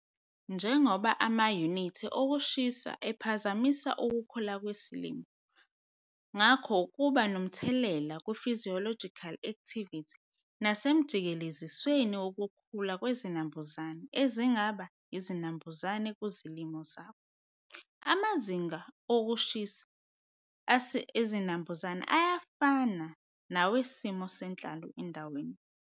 Njengoba amayunithi okushisa ephazamisa ukukhula kwesilimo ngakho kuba nomthelela kuphysiological activity nasemijikelezisweni wokukhula kwezinambuzane ezingaba izinambuzane kuzilimo zakho. Amazinga okushisa esinambuzane ayafana nawesimo senhlalo endaweni.